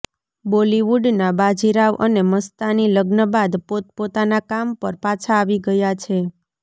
બોલિવુડના બાજીરાવ અને મસ્તાની લગ્ન બાદ પોત પોતાના કામ પર પાછા આવી ગયા છે